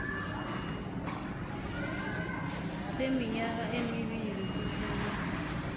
seminyaka emibili siphele